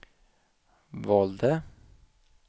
valde